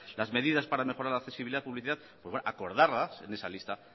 las medidas para mejorar la accesibilidad publicidad acordarlas en esa lista